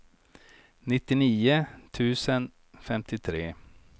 nittionio tusen femtiotre